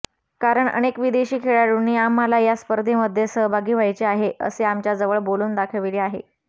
कारण अनेक विदेशी खेळाडूंनी आम्हाला या स्पर्धेमध्ये सहभागी व्हायचे आहे असे आमच्याजवळ बोलून दाखवले आहे